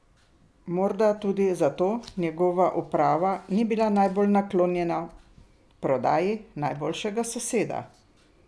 Morda tudi zato njegova uprava ni bila najbolj naklonjena prodaji najboljšega soseda?